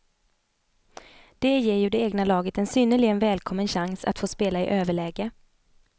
Det ger ju det egna laget en synnerligen välkommens chans att få spela i överläge.